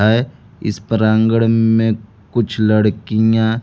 हैं इस प्रांडगण में कुछ लड़कियां--